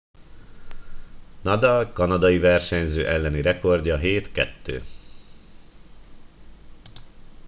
nadal kanadiai versenyző elleni rekordja 7 - 2